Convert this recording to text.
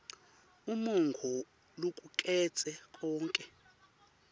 umongo locuketse konkhe